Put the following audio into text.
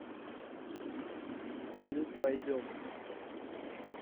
салют пойдем